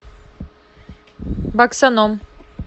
баксаном